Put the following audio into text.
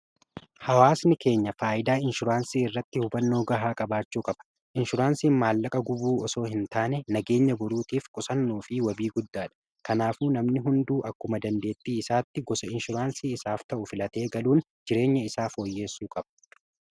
hawaasni keenya faayyidaa inshuraansii irratti hubannoo gahaa qabaachuu qaba inshuraansiin maallaqa gubuu osoo hin taane nageenya boruutiif qusannuu fi wabii guddaa dha kanaafu namni hunduu akkuma dandeettii isaatti gosa inshuraansii isaaf ta'u filatee galuun jireenya isaaf fooyyeessuu qaba